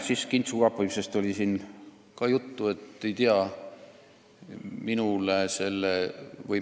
Siin oli juttu ka kintsukaapimisest.